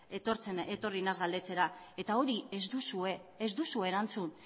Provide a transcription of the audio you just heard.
etorri naiz galdetzera eta hori ez duzue erantzun